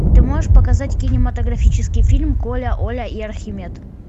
ты можешь показать кинематографический фильм коля оля и архимед